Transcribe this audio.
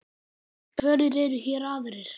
Hverjir eru hér aðrir?